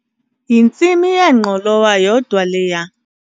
Yintsimi yengqolowa yodwa leya.